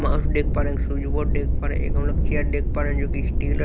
Mouse देख पा रहे हैं एक स्विज बोर्ड देख पा रहे हैं एक हमलोग चेयर देख पा रहे हैं जो कि स्टील है।